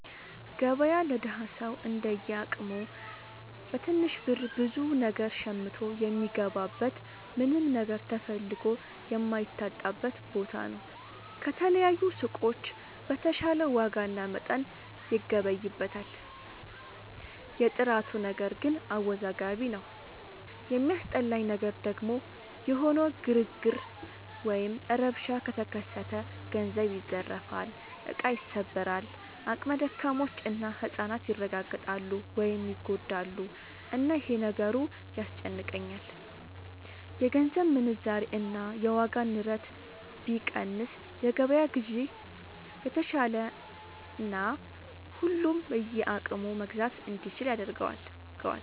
ገበያ ለደሀ ሰው እንደየ አቅሙ በትንሽ ብር ብዙ ነገር ሸምቶ የሚገባበት ምንም ነገር ተፈልጎ የማይታጣበት ቦታ ነው። ከተለያዩ ሱቆች በተሻለ ዋጋና መጠን ይገበይበታል። የጥራቱ ነገር ግን አወዛጋቢ ነው። የሚያስጠላኝ ነገር ደግሞ የሆነ ግርግር ወይም ረብሻ ከተከሰተ ገንዘብ ይዘረፋል፣ እቃ ይሰበራል፣ አቅመ ደካሞች እና ህፃናት ይረጋገጣሉ (ይጎዳሉ)፣እና ይሄ ነገሩ ያስጨንቀኛል። የገንዘብ ምንዛሬ እና የዋጋ ንረት ቢቀንስ የገበያ ግዢ የተሻለና ሁሉም በየአቅሙ መግዛት እንዲችል ያደርገዋል።